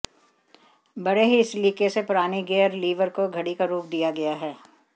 बड़े ही सलीके से पुरानी गियर लीवर को घड़ी का रूप दिया गया है